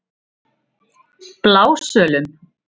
Blásölum